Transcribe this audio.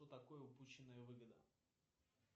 что такое упущенная выгода